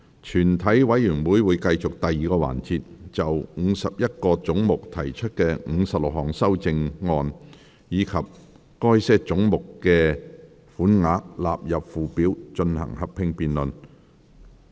全體委員會會繼續第二個環節，就51個總目提出的56項修正案，以及該些總目的款額納入附表，進行合併辯論。